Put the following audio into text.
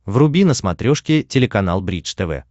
вруби на смотрешке телеканал бридж тв